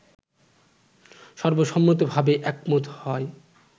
সর্বসম্মতভাবে একমত হয়